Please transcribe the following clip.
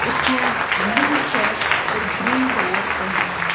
उसने blue shirt और green lower पहेना हुआ--